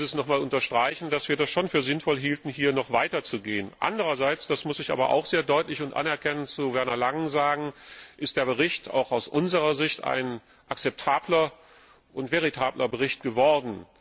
Dennoch will ich noch einmal unterstreichen, dass wir es schon für sinnvoll hielten, hier noch weiter zu gehen. Andererseits das muss ich Werner Langen sehr deutlich und anerkennend sagen ist der Bericht auch aus unserer Sicht ein akzeptabler und veritabler Bericht geworden.